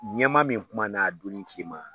Ɲɛmaa min kumana a donni cema